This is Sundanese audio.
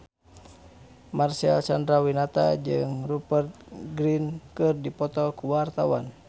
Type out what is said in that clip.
Marcel Chandrawinata jeung Rupert Grin keur dipoto ku wartawan